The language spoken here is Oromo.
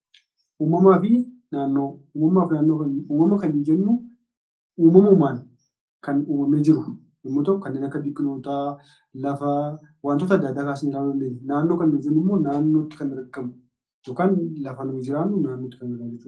Uumamaa fi naannoo Uumamaa fi naannoo kan, uumama kan jennu uumamumaan kan uumamee jiru yommuu ta'u, kanneen akka biqilootaa, lafaa, wantoota adda addaa kaasnee ilaaluu dandeenya. Naannoo nuyi jennu immoo naannootti kan argamu yookaan lafa nuyi jiraannu naannootti kan argamu jechuu dha.